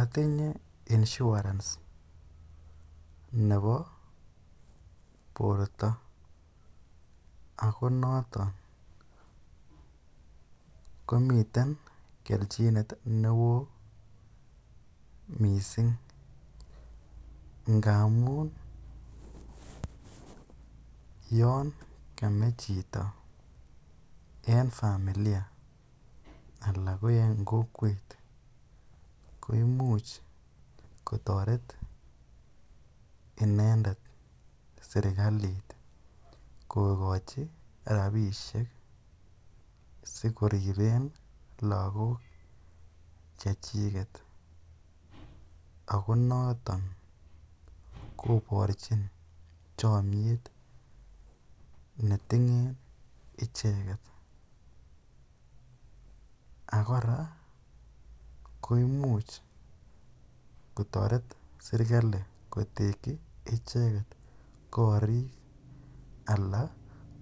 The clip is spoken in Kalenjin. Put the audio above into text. Otinye insuarence nebo borto ak ko noton komiten kelchinet newo mising ngamun yoon kamee chito en familia alaa ko en kokwet ko imuch kotoret inendet serikalit kokochi rabishek sikoriben lokok chechiket ak ko noton koborchin chomnyet netinyen icheket, ak kora koimuch kotoret serikali kotekyi icheket korik alaa